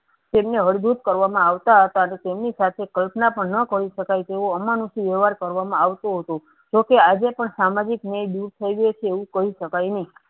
તેમને હળ દૂત કરવામાં આવતા હતા તેમની સાથે કલ્પના પણ ન કરી શકાય તેવો અમાનુષિ વ્યવહાર કરવામાં આવતો હતો. જોકે આજે પણ સામાજિક ન્યાય દૂર થઈગયો છે એવું કહી શકાય નહિ.